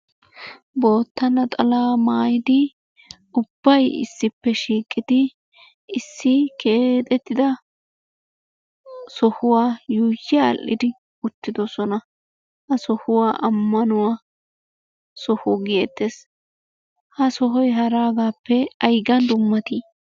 Bootta naxalaa maayidi ubbayi issippe shiiqidi issi keexettida sohuwa yuuyyi aadhdhidi uttidosona. Ha sohuwa ammanuwa Soho geettes. Ha sohoyi haraagaappe aygan dummatii?